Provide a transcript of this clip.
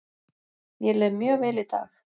Mér leið mjög vel í dag.